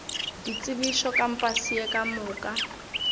ditsebišo kampase ye ka moka